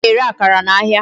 A na-ere akara n'ahịa.